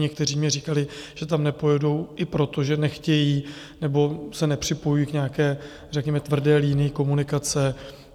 Někteří mi říkali, že tam nepojedou, i proto, že nechtějí nebo se nepřipojují k nějaké řekněme tvrdé linii komunikace.